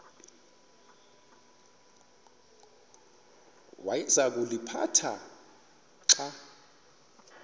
awayeza kuliphatha xa